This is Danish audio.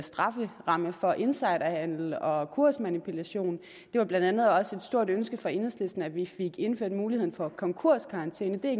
strafferamme for insiderhandel og kursmanipulation det var blandt andet også et stort ønske fra enhedslistens side at vi fik indført muligheden for konkurskarantæne det er